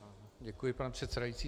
Děkuji, pane předsedající.